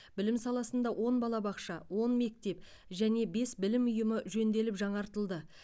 білім саласында он балабақша он мектеп және бес білім ұйымы жөнделіп жаңартылды